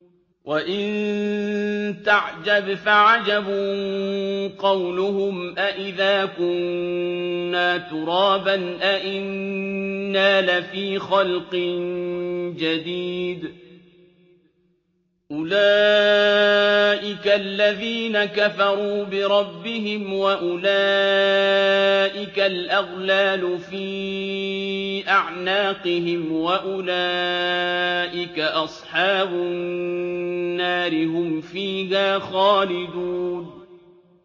۞ وَإِن تَعْجَبْ فَعَجَبٌ قَوْلُهُمْ أَإِذَا كُنَّا تُرَابًا أَإِنَّا لَفِي خَلْقٍ جَدِيدٍ ۗ أُولَٰئِكَ الَّذِينَ كَفَرُوا بِرَبِّهِمْ ۖ وَأُولَٰئِكَ الْأَغْلَالُ فِي أَعْنَاقِهِمْ ۖ وَأُولَٰئِكَ أَصْحَابُ النَّارِ ۖ هُمْ فِيهَا خَالِدُونَ